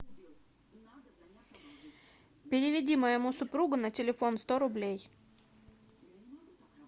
переведи моему супругу на телефон сто рублей